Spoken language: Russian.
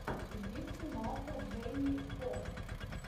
где снимался джейми фокс